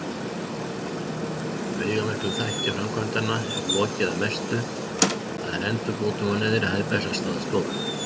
Veigamiklum þætti framkvæmdanna er lokið að mestu, það er endurbótum á neðri hæð Bessastaðastofu.